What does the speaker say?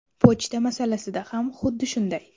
Pochta masalasida ham xuddi shunday.